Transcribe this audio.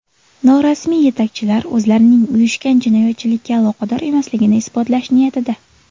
Norasmiy yetakchilar o‘zlarining uyushgan jinoyatchilikka aloqador emasligini isbotlash niyatida.